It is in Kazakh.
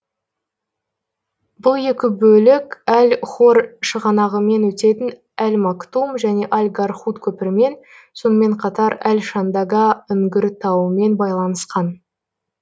бұл екі бөлік әл хор шығанағымен өтетін әл мактум және әл гархуд көпірімен сонымен қатар әл шандага үңгіртауымен байланысқан